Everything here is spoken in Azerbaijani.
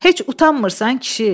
Heç utanmırsan, kişi?